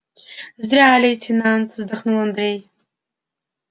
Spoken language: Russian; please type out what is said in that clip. зря лейтенант вздохнул андрей